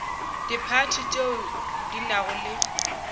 diphathi tšeo di nago le